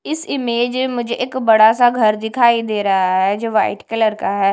इस इमेज मुझे एक बड़ा सा घर दिखाई दे रहा है जो वाइट कलर का है।